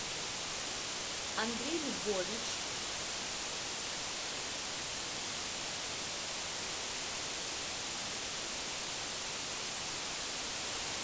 андрей львович